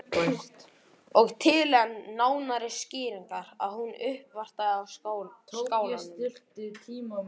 Og til enn nánari skýringar að hún uppvartaði á Skálanum.